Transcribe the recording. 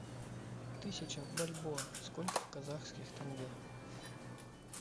тысяча бальбоа сколько в казахских тенге